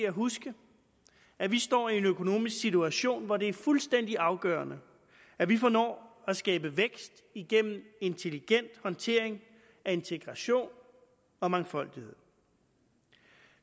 at huske at vi står i en økonomisk situation hvor det er fuldstændig afgørende at vi formår at skabe vækst igennem intelligent håndtering af integration og mangfoldighed